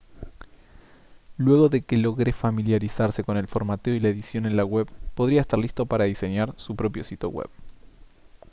luego de que logre familiarizarse con el formateo y la edición en la web podría estar listo para diseñar su propio sitio web